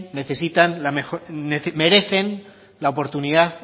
necesitan merecen la oportunidad